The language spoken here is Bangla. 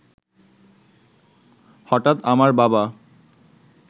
হঠাৎ আমার বাবা